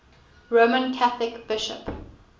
roman catholic bishop